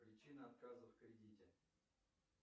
причина отказа в кредите